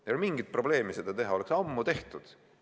Ei olnud mingit probleemi seda teha, oleks ammu tehtud.